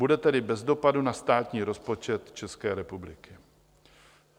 Bude tedy bez dopadu na státní rozpočet České republiky.